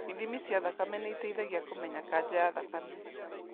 Ithimi cia thakame nĩiteithagia kũmenya kanja ya thakame